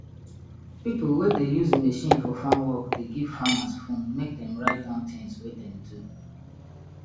pipo wey dey use machine for farm work dey give farmers phone mek dem write down things wey dem do